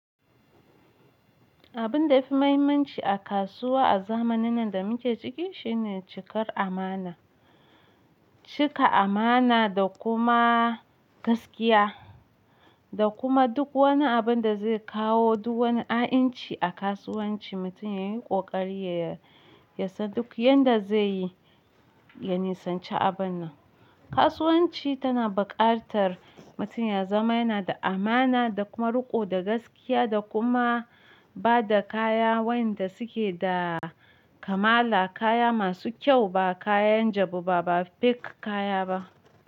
Abun da yafi muhimmanci a kasuwa a zamanin nan da muke ciki shine cikar amana. Cika amana da kuma gaskiya da kuma duk wani abun da zai kawo duk wani a'inci a kasuwanci, mutum yayi kokari yasan duk yanda zai yi, ya nisance abun nan. Kasuwanci tana buƙatar mutum ya zama yana da amana da kuma riko da gaskiya da kuma bada kaya wayanda suke da kamala, kaya masu kyau ba kayan jabu ba, ba fake kaya ba.